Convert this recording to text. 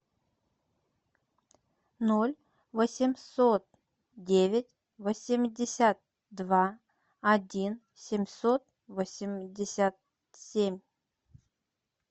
ноль восемьсот девять восемьдесят два один семьсот восемьдесят семь